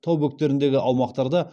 тау бөктеріндегі аумақтарда